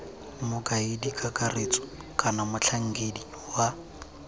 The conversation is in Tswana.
mokaedi kakaretso kana motlhankedi wa